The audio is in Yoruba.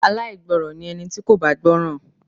Aláìgbọràn ni ẹni tí kò bá gbọ́ràn.